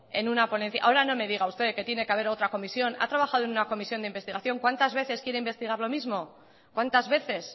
en una ponencia ahora no me diga usted que tiene que haber otra comisión ha trabajado en una comisión de investigación cuantas veces quiere investigar lo mismo cuantas veces